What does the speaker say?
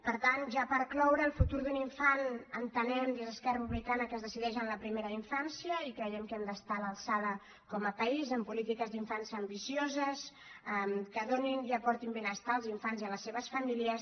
per tant ja per cloure el futur d’un infant entenem des d’esquerra republicana que es decideix en la primera infància i creiem que hem d’estar a l’alçada com a país amb polítiques d’infància ambicioses que donin i aportin benestar als infants i a les seves famílies